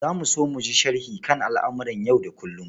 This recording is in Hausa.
Za mu so jin sharhi kan al'amuran yau da kullum.